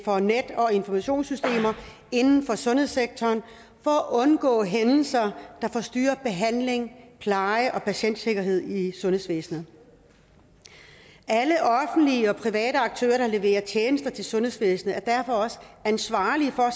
for net og informationssystemer inden for sundhedssektoren for at undgå hændelser der forstyrrer behandling pleje og patientsikkerhed i sundhedsvæsenet alle offentlige og private aktører der leverer tjenester til sundhedsvæsenet er derfor også ansvarlige for at